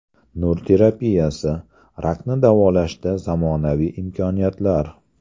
Nur terapiyasi: rakni davolashda zamonaviy imkoniyatlar.